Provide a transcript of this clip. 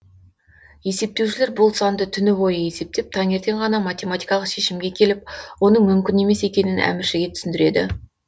есептеушілер бұл санды түні бойы есептеп таңертең ғана математикалық шешімге келіп оның мүмкін емес екенін әміршіге түсіндіреді